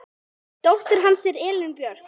Dóttir hans er Elín Björk.